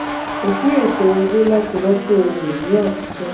kò sí ètò owó láti rọ́pò ohun-ìní àtijọ́.